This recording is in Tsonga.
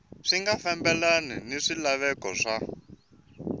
nga fambelani ni swilaveko swa